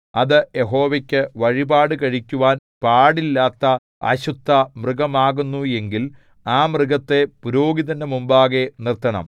അത് യഹോവയ്ക്കു വഴിപാട് കഴിക്കുവാൻ പാടില്ലാത്ത അശുദ്ധമൃഗമാകുന്നു എങ്കിൽ ആ മൃഗത്തെ പുരോഹിതന്റെ മുമ്പാകെ നിർത്തണം